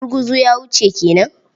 Gurguzu ya wuce ke nan?